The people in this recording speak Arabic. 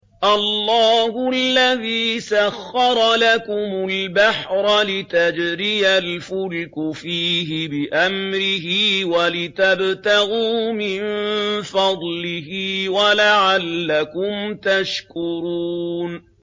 ۞ اللَّهُ الَّذِي سَخَّرَ لَكُمُ الْبَحْرَ لِتَجْرِيَ الْفُلْكُ فِيهِ بِأَمْرِهِ وَلِتَبْتَغُوا مِن فَضْلِهِ وَلَعَلَّكُمْ تَشْكُرُونَ